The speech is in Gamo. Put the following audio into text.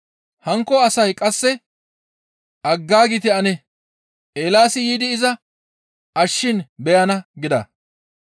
Hankko asay qasse, «Aggaagite ane, Eelaasi yiidi iza ashshishin beyana» gida.